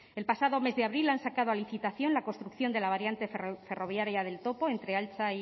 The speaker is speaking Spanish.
el pasado mes de abril han sacado a licitación la construcción de la variante ferroviaria del topo entre altza